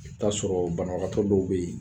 I bi ta'a sɔrɔ banabagatɔ dɔw bɛ yen